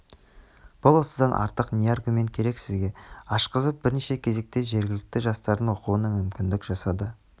бұл осыдан артық не аргумент керек сізге ашқызып бірінші кезекте жергілікті жастардың оқуына мүмкіндік жасады